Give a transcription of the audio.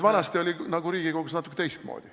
Vanasti oli Riigikogus nagu natuke teistmoodi.